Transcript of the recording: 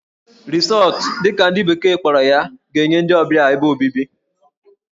Resort' dị ka ndị bekee kpọrọ ya ga-enye ndị ọbịa ebe obibi